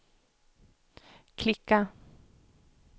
klicka